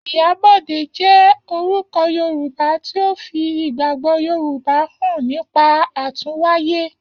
Iyabode jẹ́ orúkọ Yorùbá tí ó fi ìgbàgbọ́ Yorùbá hàn nípa àtúnwáyé.